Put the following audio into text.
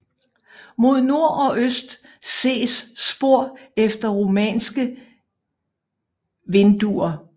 Mod nord og øst ses spor efter romanske vinduer